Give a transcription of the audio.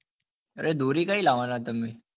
અરે દોરી કઈ લાવવા ની